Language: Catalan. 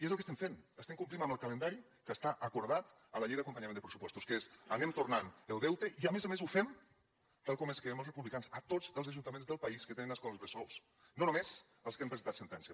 i és el que estem fent estem complint amb el calendari que està acordat a la llei d’acompanyament de pressupostos que és anem tornant el deute i a més a més ho fem tal com ens creiem els republicans a tots els ajuntaments del país que tenen escoles bressol no només als que han presentat sentència